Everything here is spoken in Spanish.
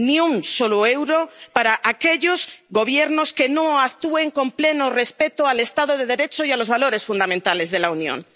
Ni un solo euro para aquellos Gobiernos que no actúen con pleno respeto del Estado de Derecho y de los valores fundamentales de la Unión.